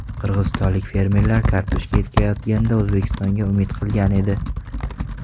Qirg‘izistonlik fermerlar kartoshka ekayotganda O‘zbekistonga umid qilgan edi.